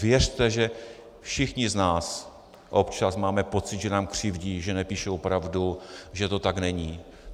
Věřte, že všichni z nás občas máme pocit, že nám křivdí, že nepíšou pravdu, že to tak není.